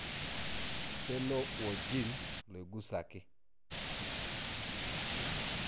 Kelo wo gene loigusaki.